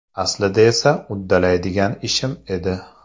Aslida esa uddalaydigan ishim edi.